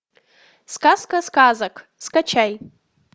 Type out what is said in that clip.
сказка сказок скачай